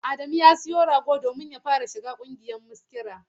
Adamu ya sayi rago domin ya fara shiga ƙungiyar maskira.